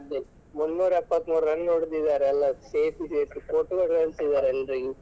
ಅದೇ ಮುನ್ನೂರ ಎಪ್ಪತ್ತಮೂರು run ಹೊಡೆದಿದ್ದಾರೆ ಅಲ್ಲಾ ಸೇರ್ಸಿ ಸೇರ್ಸಿ photo ಎಲ್ಲ ಕಳಿಸಿದ್ದಾರೆ ಎಲ್ರಿಗೂ.